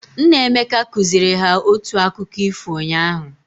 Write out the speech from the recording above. Nna Emeka kụziri ha otu akụkkọ ifo unyaahụ.